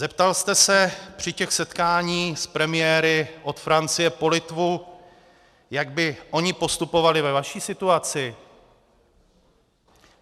Zeptal jste se při těch setkáních s premiéry od Francie po Litvu, jak by oni postupovali ve vaší situaci?